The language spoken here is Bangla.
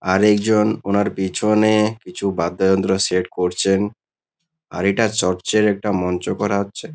আরেকজন ওনার পিছনে-এ কিছু বাদ্যযন্ত্র সেট করছেন। আর এটা চর্চ -এর একটা মঞ্চ করা হচ্ছে।